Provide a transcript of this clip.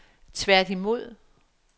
tværtimod